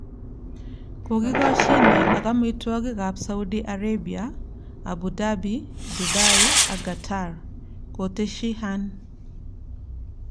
Kokikoshine ak emotinwekab Saudi Arabia, Abu Dhabi, Dubai ak Qatar," koteshi Hearn.